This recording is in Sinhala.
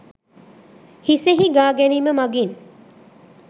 හිසෙහි ගා ගැනීම මගින්